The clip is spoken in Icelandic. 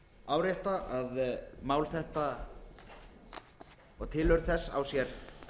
árétta að mál þetta og tilurð þess á sér